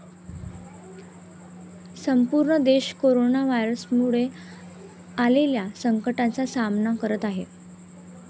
संपूर्ण देश कोरोना व्हायरसमुळे आलेल्या संकटाचा सामना करत आहे.